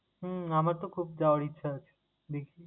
হম আমার তো খুব যাওয়ার ইচ্ছে আছে, দেখি।